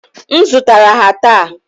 M zụtara ha taa.